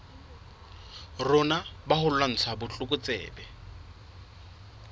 rona ba ho lwantsha botlokotsebe